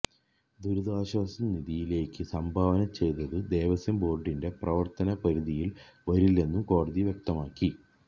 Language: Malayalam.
ദുരിതാശ്വാസനിധിയിലേക്ക് സംഭാവന ചെയ്തത് ദേവസ്വം ബോർഡിന്റെ പ്രവർത്തന പരിധിയിൽ വരില്ലെന്നും കോടതി വ്യക്തമാക്കി